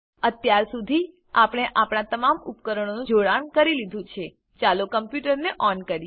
અત્યાર સુધી આપણે આપણા તમામ ઉપકરણોનું જોડાણ કરી લીધું છે ચાલો કમ્પ્યુટરને ઓન કરીએ